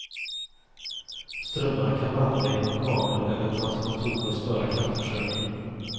Strömmarna kan vandra genom kablar eller transformatorer och störa kraftförsörjningen.